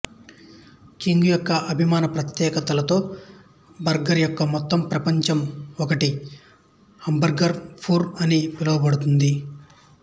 king యొక్క అభిమాన ప్రత్యేకతలలో బర్గర్ యొక్క మొత్తం ప్రపంచం ఒకటి హాంబర్గర్ వూపర్ అని పిలువబడుతుంది